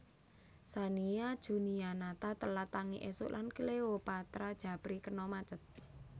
Shania Junianatha telat tangi esuk lan Cleopatra Djapri kena macet